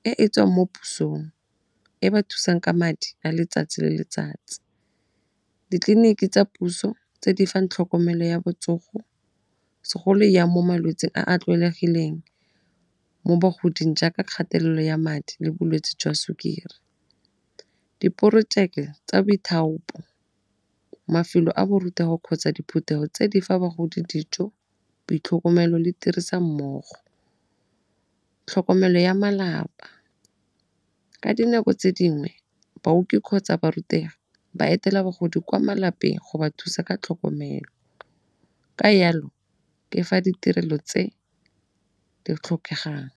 e e tswang mo pusong e ba thusang ka madi a letsatsi le letsatsi. Ditleliniki tsa puso tse di fang tlhokomelo ya botsogo segolo ya mo malwetseng a a tlwaelegileng mo bagoding jaaka kgatelelo ya madi le bolwetse jwa sukiri. Diporojeke tsa boithaopo, mafelo a borutego kgotsa diphuthego tse di fa bagodi dijo boitlhokomelo le tirisanommogo. Tlhokomelo ya malapa ka dinako tse dingwe kgotsa barutegi ba etela bagodi kwa malapeng go ba thusa ka tlhokomelo ka jalo ke fa ditirelo tse di tlhokegang.